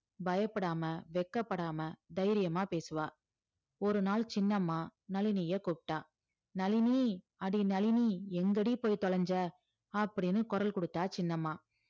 பயப்படாம வெட்கப்படாம தைரியமா பேசுவா ஒருநாள் சின்னம்மா நளினிய கூப்பிட்டா நளினி அடி நளினி எங்கடி போய் தொலைஞ்ச அப்படின்னு குரல் குடுத்தா சின்னம்மா